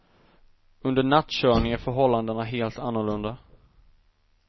Under nattkörning är förhållandena helt annorlunda.